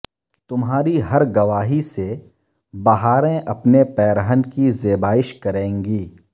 تمہاری ہر گواہی سے بہاریں اپنے پیرہن کی زیبائش کریں گی